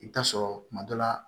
I bɛ taa sɔrɔ kuma dɔ la